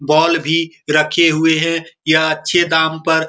ball भी रखे हुए है यह अच्छे दाम पर --